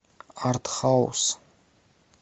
арт хаус